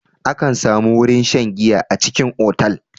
Akan samu wurin shan giya a cikin otal.